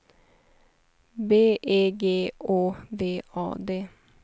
B E G Å V A D